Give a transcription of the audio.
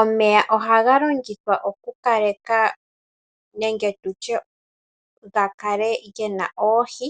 Omeya ohaga longithwa okukaleka nenge tutye ga kale ge na oohi,